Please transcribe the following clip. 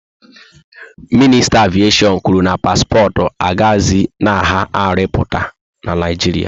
Minista aviation kwuru na paspọtụ agahzi na agha arụ mpụta na Naijiria